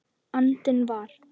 andinn var.